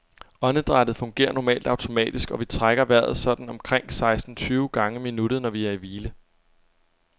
Åndedrættet fungerer normalt automatisk, og vi trækker vejret sådan omkring seksten tyve gange i minuttet, når vi er i hvile.